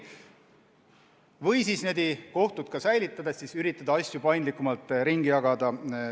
Või siis üritada kohtuid säilitades asju nende vahel paindlikumalt ringi jagada.